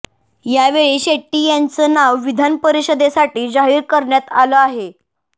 यावेळी शेट्टी यांचं नाव विधान परिषदेसाठी जाहीर करण्यात आलं आहे